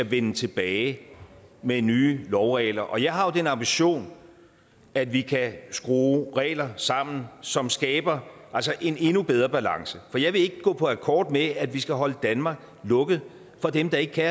vende tilbage med nye lovregler og jeg har den ambition at vi kan skrue regler sammen som skaber en endnu bedre balance for jeg vil ikke gå på akkord med at vi skal holde danmark lukket for dem der ikke kan